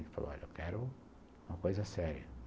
Ele falou, olha, eu quero uma coisa séria.